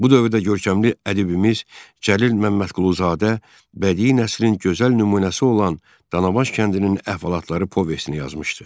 Bu dövrdə görkəmli ədibimiz Cəlil Məmmədquluzadə bədii nəslin gözəl nümunəsi olan Danabaş kəndinin əhvalatları povestini yazmışdı.